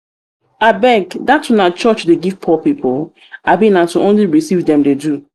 abeg dat una church dey give poor people? abi na to only receive dem dey do